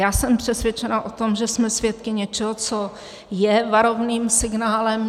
Já jsem přesvědčena o tom, že jsme svědky něčeho, co je varovným signálem.